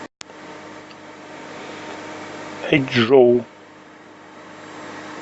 эчжоу